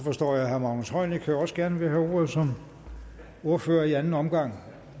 forstår jeg at herre magnus heunicke også gerne vil have ordet som ordfører i anden omgang